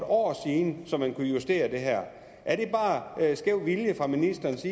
år siden så man kunne justere det her er det bare skæv vilje fra ministerens